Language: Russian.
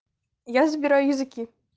я забираю языки